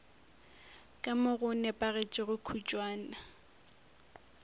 ka mo go nepagetšego kutšwana